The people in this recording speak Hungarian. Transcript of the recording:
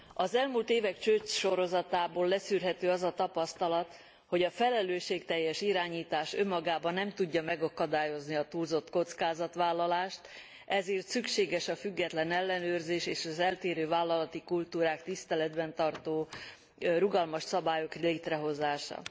Az elmúlt évek csődsorozatából leszűrhető az a tapasztalat, hogy a felelősségteljes irányítás önmagában nem tudja megakadályozni a túlzott kockázatvállalást, ezért szükséges a független ellenőrzés és az eltérő vállalati kultúrát tiszteletben tartó, rugalmas szabályok létrehozása.